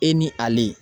E ni ale